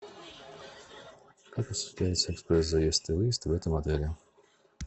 как осуществляется экспресс заезд и выезд в этом отеле